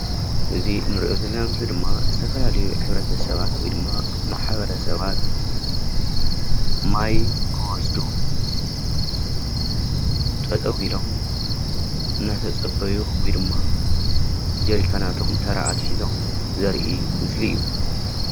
እዚ ንሪኦ ዘለና ምስሊ ድማ ዝተፈላለዩ ሕብረተ ሰባት ወይ ድማ ማሕበረ ሰባት ማይ ክወስዱ ጠጠው ኢሎም እናተፀበዩ ወይ ድማ ጀሪካናቶም ተራ ኣትሒዞም ዘርኢ ምስሊ እዩ፡፡